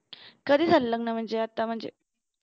कधी झालं लग्न म्हणजे आता म्हणजे